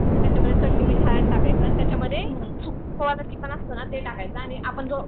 त्याच्यामध्ये चटणी मीठ हळद टाकायचं आणि त्याच्यामध्ये थोडंसं चिकन असत ना ते टंकायचं आणि थोडंसं आपण ते